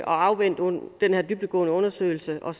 afvente den her dybdegående undersøgelse og